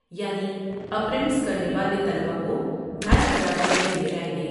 یعنی اپریٹس کرنے والے طلبہ کو ڈھائی ہزار روپے دیئے جائیں گے ۔